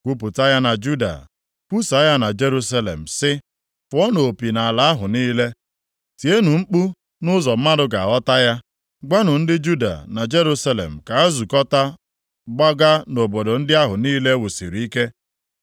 “Kwupụta ya na Juda, kwusaa ya na Jerusalem sị, ‘Fụọnụ opi nʼala ahụ niile.’ Tienụ mkpu nʼụzọ mmadụ ga-aghọta ya. Gwanụ ndị Juda na Jerusalem ka ha zukọtaa gbaga nʼobodo ndị ahụ niile e wusiri ike.